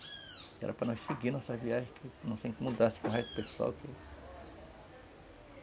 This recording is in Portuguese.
Era para nós seguimos nossas viagens, que não se incomodasse com o resto do pessoal.